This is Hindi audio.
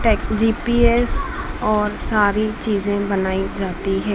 टैग जी_पी_एस और सारी चीजे बनाई जाती है।